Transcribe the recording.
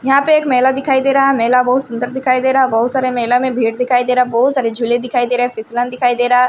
यहां पे एक मेला दिखाई दे रहा मेला बहुत सुंदर दिखाई दे रहा बहुत सारे मेला में भीड़ दिखाई दे रहा बहुत सारे झूले दिखाई दे रहे फिसलन दिखाई दे रहा।